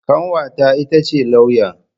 Kanwata ita ce lauya.